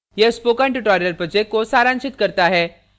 यह spoken tutorial project को सारांशित करता है